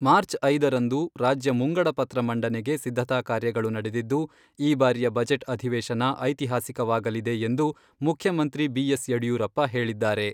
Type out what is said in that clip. March ಐದರಂದು, ರಾಜ್ಯ ಮುಂಗಡ ಪತ್ರ ಮಂಡನೆಗೆ ಸಿದ್ಧತಾ ಕಾರ್ಯಗಳು ನಡೆದಿದ್ದು, ಈ ಬಾರಿಯ ಬಜೆಟ್ ಅಧಿವೇಶನ ಐತಿಹಾಸಿಕವಾಗಲಿದೆ ಎಂದು ಮುಖ್ಯಮಂತ್ರಿ ಬಿ.ಎಸ್. ಯಡಿಯೂರಪ್ಪ ಹೇಳಿದ್ದಾರೆ.